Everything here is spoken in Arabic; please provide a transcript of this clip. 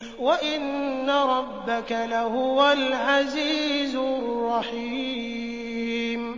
وَإِنَّ رَبَّكَ لَهُوَ الْعَزِيزُ الرَّحِيمُ